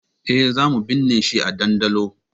Eh, zamu binne shi a ɗandolo